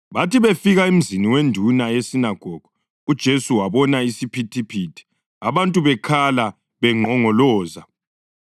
Bathi befika emzini wenduna yesinagogu uJesu wabona isiphithiphithi abantu bekhala benqongoloza.